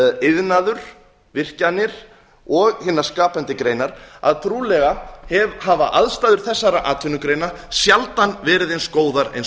iðnaður virkjanir og hinar skapandi greinar að trúlega hafa aðstæður þessara atvinnugreina sjaldan verið eins góðar og